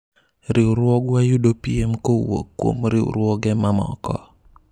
riwruogwa yudo piem kowuok kuom riwruoge mamoko